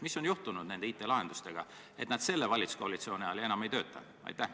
Mis on juhtunud IT-lahendustega, et nad selle valitsuskoalitsiooni ajal enam ei tööta?